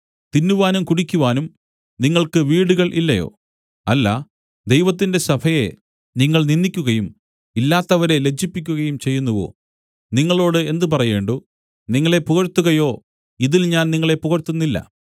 തിന്നുവാനും കുടിക്കുവാനും നിങ്ങൾക്ക് വീടുകൾ ഇല്ലയോ അല്ല ദൈവത്തിന്റെ സഭയെ നിങ്ങൾ നിന്ദിക്കുകയും ഇല്ലാത്തവരെ ലജ്ജിപ്പിക്കുകയും ചെയ്യുന്നുവോ നിങ്ങളോട് എന്ത് പറയേണ്ടു നിങ്ങളെ പുകഴ്ത്തുകയോ ഇതിൽ ഞാൻ നിങ്ങളെ പുകഴ്ത്തുന്നില്ല